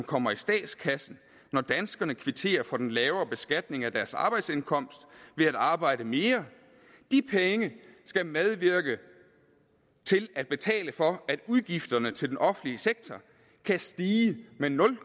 kommer i statskassen når danskerne kvitterer for den lavere beskatning af deres arbejdsindkomst ved at arbejde mere skal medvirke til at betale for at udgifterne til den offentlige sektor kan stige med nul